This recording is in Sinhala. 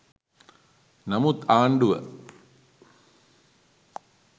නමුත් ආණ්ඩුව